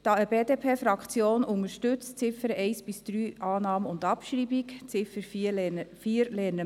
Die BDP-Fraktion unterstützt Annahme und Abschreibung der Ziffern 1 bis 3.